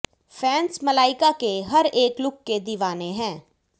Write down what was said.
fans Malaika के हर एक लुक के दीवाने है